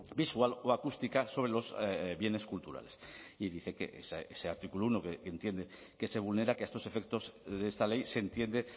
visual o acústica sobre los bienes culturales y dice que ese artículo uno que entiende que se vulnera que a estos efectos de esta ley se entiende